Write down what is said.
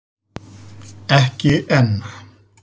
Ekki enn!